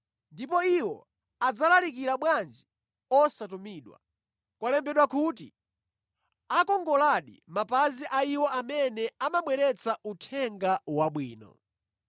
Ndipo iwo adzalalikira bwanji osatumidwa? Kwalembedwa kuti, “Akongoladi mapazi a iwo amene amabweretsa Uthenga Wabwino!”